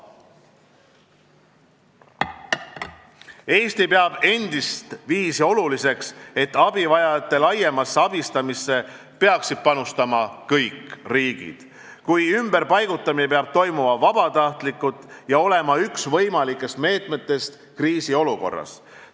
Eesti peab endistviisi oluliseks, et abivajajate laiemasse abistamisse peaksid panustama kõik riigid, kuid ümberpaigutamine peab toimuma vabatahtlikkuse alusel ja olema üks võimalikest meetmetest kriisiolukorras.